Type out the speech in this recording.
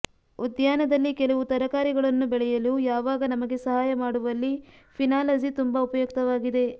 ಉದ್ಯಾನದಲ್ಲಿ ಕೆಲವು ತರಕಾರಿಗಳನ್ನು ಬೆಳೆಯಲು ಯಾವಾಗ ನಮಗೆ ಸಹಾಯ ಮಾಡುವಲ್ಲಿ ಫಿನಾಲಜಿ ತುಂಬಾ ಉಪಯುಕ್ತವಾಗಿದೆ